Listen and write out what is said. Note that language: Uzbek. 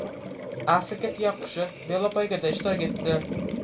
Afrika tuyaqushi velopoygada ishtirok etdi .